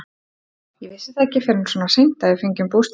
Ég vissi það ekki fyrr en svona seint að við fengjum bústaðinn.